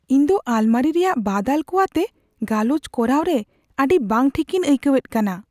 ᱤᱧ ᱫᱚ ᱟᱞᱢᱟᱨᱤ ᱨᱮᱭᱟᱜ ᱵᱟᱫᱟᱞ ᱠᱚ ᱟᱛᱮ ᱜᱟᱞᱚᱪ ᱠᱚᱨᱟᱣ ᱨᱮ ᱟᱹᱰᱤ ᱵᱟᱝ ᱴᱷᱤᱠᱤᱧ ᱟᱹᱭᱠᱟᱹᱣ ᱮᱫ ᱠᱟᱱᱟ ᱾